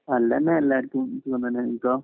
നല്ലന്നെ എല്ലാര്ക്കും നിനക്കോ